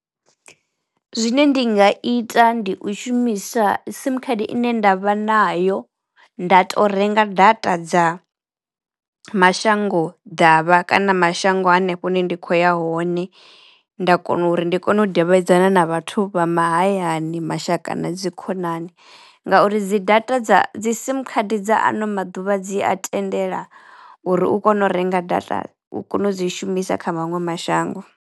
Zwine ndi nga ita ndi u shumisa sim card ine ndavha nayo nda to renga data dza mashango ḓavha kana mashango hanefho hune ndi khou ya hone, nda kona uri ndi kone u davhidzana na vhathu vha mahayani mashaka na dzi khonani ngauri dzi data dza dzi sim card dza ano maḓuvha dzi a tendela uri u kono u renga data u kono u dzi shumisa kha maṅwe mashango.